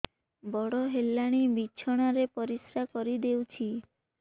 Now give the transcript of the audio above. ବଡ଼ ହେଲାଣି ବିଛଣା ରେ ପରିସ୍ରା କରିଦେଉଛି